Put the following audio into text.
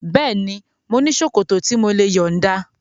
Bẹ́ẹ̀ni, mo ní ṣòkòtò tí mò lè yọ̀nda